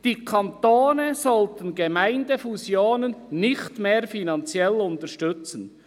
«Die Kantone sollten Gemeindefusionen nicht mehr finanziell unterstützen.